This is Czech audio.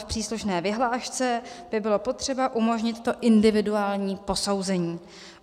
V příslušné vyhlášce by bylo potřeba umožnit to individuální posouzení.